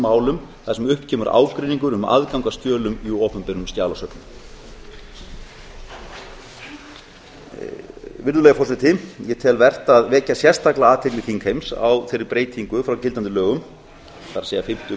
málum þar sem upp kemur ágreiningur um aðgang að skjölum í opinberum skjalasöfnum virðulegi forseti ég tel vert að vekja sérstaklega athygli þingheims á þeirri breytingu frá gildandi lögum það er fimmta